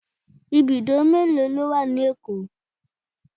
Ibùdó mélòó ló wà ní Èkó?